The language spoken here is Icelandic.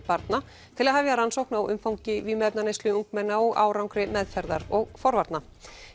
barna til að hefja rannsókn á umfangi vímuefnaneyslu ungmenna og árangri meðferðar og forvarna